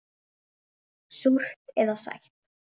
Súrt eða sætt.